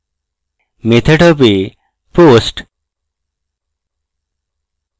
method হবে post